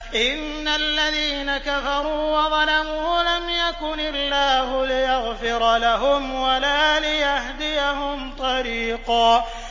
إِنَّ الَّذِينَ كَفَرُوا وَظَلَمُوا لَمْ يَكُنِ اللَّهُ لِيَغْفِرَ لَهُمْ وَلَا لِيَهْدِيَهُمْ طَرِيقًا